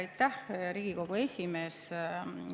Aitäh, Riigikogu esimees!